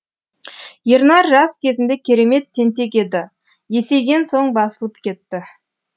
ернар жас кезінде керемет тентек еді есейген соң басылып кетті